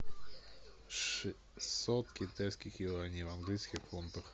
шестьсот китайских юаней в английских фунтах